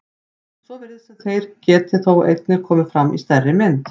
Svo virðist sem þær geti þó einnig komið fram í stærri mynd.